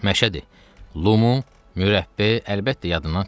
Məşədi, lümu, mürəbbə, əlbəttə yadından çıxmasın.